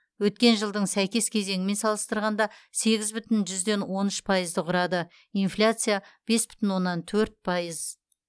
өткен жылдың сәйкес кезеңімен салыстырғанда сегіз бүтін жүзден он үш пайызды құрады инфляция бес бүтін оннан төрт пайыз